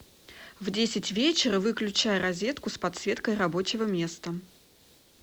в десять вечера выключай розетку с подсветкой рабочего места